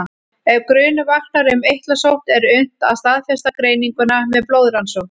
Ef grunur vaknar um eitlasótt er unnt að staðfesta greininguna með blóðrannsókn.